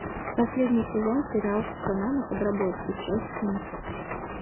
последний сезон сериал сатана на подработке часть семь